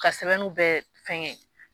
Ka sɛbɛnw bɛ fɛngɛ ye